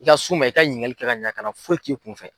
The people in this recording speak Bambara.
I ka s'u ma i ka ɲininkali kɛ ka ɲa kana foyi k'i kun fɛ.